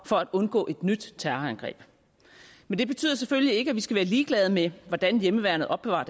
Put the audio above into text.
for at undgå et nyt terrorangreb men det betyder selvfølgelig ikke at vi skal være ligeglade med hvordan hjemmeværnet opbevarer